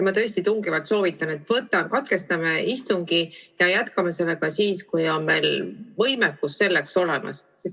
Ma tõesti tungivalt soovitan, et katkestame istungi ja jätkame seda siis, kui meil on võimekus selleks olemas.